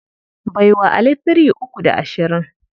Bai wa Ali three uku da ashirin.